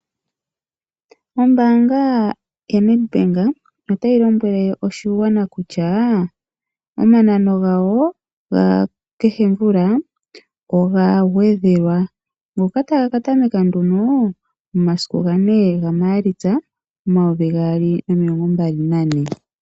Ombaanga ya NedBank otayi lombwele oshigwana kutya omanano gawo ga kehe mvula oga gwedhelwa ngoka taga katameka nduno momasiku gane gaMaalitsa oayovi gaali nomilongo mbali nane.